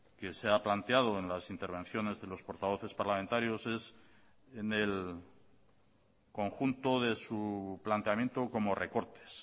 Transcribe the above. que se ha planteado en las intervenciones de los portavoces parlamentarios es en el conjunto de su planteamiento como recortes